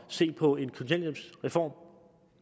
se på en kontanthjælpsreform